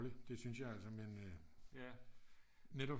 Det syntes jeg altså men netop